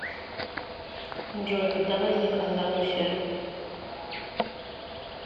джой когда возник андалусия